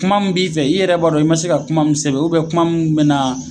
Kuma min b'i fɛ i yɛrɛ b'a dɔn i ma se ka kuma min sɛbɛn kuma min bɛna